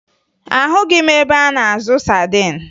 Ahụghị m ebe a na-azụ sadin